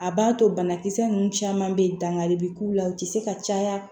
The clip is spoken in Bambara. A b'a to banakisɛ ninnu caman bɛ yen dankari bɛ k'u la u tɛ se ka caya